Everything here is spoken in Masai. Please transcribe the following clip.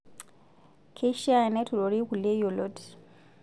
Keishaa neturori kulie yiolot.